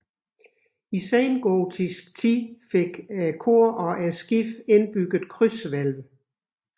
I sengotisk tid fik kor og skib indbygget krydshvælv